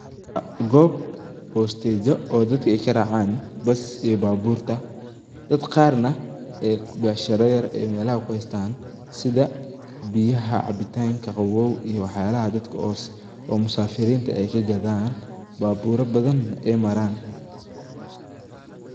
Goob bosteejo oo dadka aay karaacan bus iyo baabuurta, dad qaar nah aay beecshira yar aay meelaha kuhaystaan, sidha biyaha cabitaanka qawoow iyo waxyaabaha dadka oo musaafiriinta kagadaan, baabuura badan neh aay maraan.